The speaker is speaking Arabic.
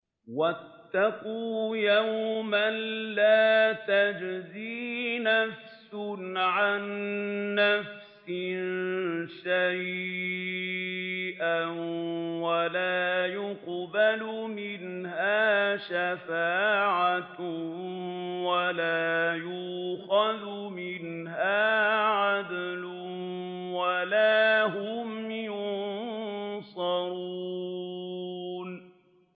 وَاتَّقُوا يَوْمًا لَّا تَجْزِي نَفْسٌ عَن نَّفْسٍ شَيْئًا وَلَا يُقْبَلُ مِنْهَا شَفَاعَةٌ وَلَا يُؤْخَذُ مِنْهَا عَدْلٌ وَلَا هُمْ يُنصَرُونَ